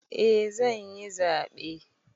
Eh zanyi zaɓe